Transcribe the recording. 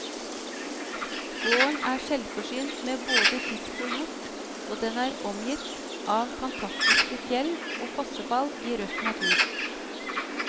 Gården er selvforsynt med både fisk og hjort, og den er omgitt av fantastiske fjell og fossefall i røff natur.